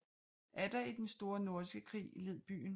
Atter i den Store Nordiske Krig led byen